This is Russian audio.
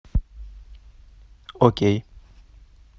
окей